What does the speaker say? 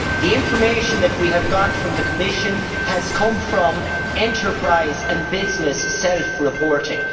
The information that we have from the Commission has come from enterprise and business self reporting.